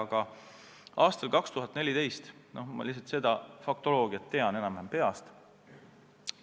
Aga seda faktoloogiat, mis juhtus aastal 2014, ma tean enam-vähem peast.